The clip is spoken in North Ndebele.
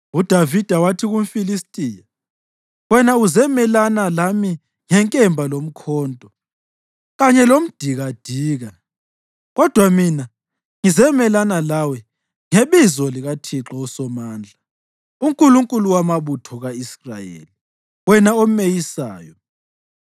UDavida wathi kumFilistiya, “Wena uzemelana lami ngenkemba lomkhonto kanye lomdikadika, kodwa mina ngizemelana lawe ngebizo likaThixo uSomandla, uNkulunkulu wamabutho ka-Israyeli wena omeyisayo.